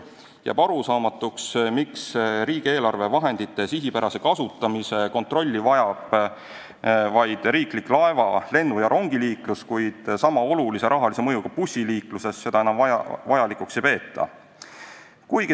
Jääb arusaamatuks, miks riigieelarvevahendite sihipärase kasutamise kontrolli vajab vaid riiklik laeva-, lennu- ja rongiliiklus ning sama olulise rahalise mõjuga bussiliikluses seda enam vajalikuks ei peeta.